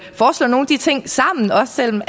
de ting sammen også selv om